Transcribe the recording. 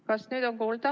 Kas nüüd on kuulda?